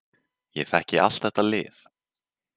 Ég þekki allt þetta lið.